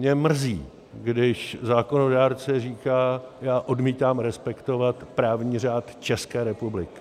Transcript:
Mě mrzí, když zákonodárce říká: já odmítám respektovat právní řád České republiky.